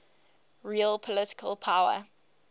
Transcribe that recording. real political power